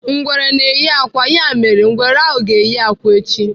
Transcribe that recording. Ngwere na-eyi akwa, ya mere, ngwere ahụ ga-eyi akwa echi.